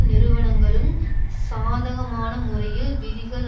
நிறுவனங்களும் சாதகமான முறையில் விதிகள்